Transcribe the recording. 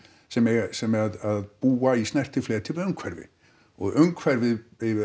sem sem að búa í snertifleti við umhverfið og umhverfið